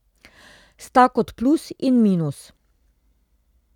Sta kot plus in minus.